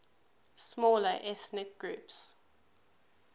smaller ethnic groups